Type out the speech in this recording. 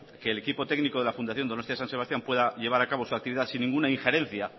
que el equipo técnico de la fundación donostia san sebastián pueda llevar a cabo su actividad sin ninguna injerencia